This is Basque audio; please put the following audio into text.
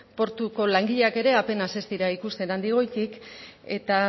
portuko langileak ere apenas ez dira ikusten handik goitik eta